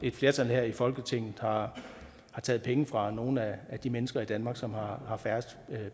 et flertal her i folketinget har taget penge fra nogle af de mennesker i danmark som har har færrest